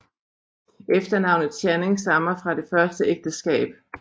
Efternavnet Channing stammer fra det første ægteskab